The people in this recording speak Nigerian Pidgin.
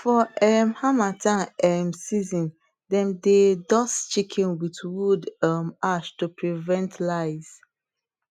for um harmattan um season dem dey dust chicken with wood um ash to prevent lice